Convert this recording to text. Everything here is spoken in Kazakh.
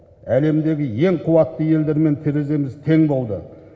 әлемдегі ең қуатты елдермен тереземіз тең болды